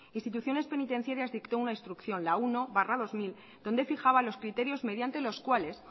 instituciones penitenciarias dictó una instrucción la uno barra dos mil donde fijaba los criterios mediante los cuales